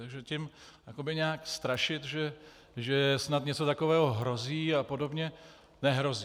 Takže tím jakoby nějak strašit, že snad něco takového hrozí a podobně - nehrozí!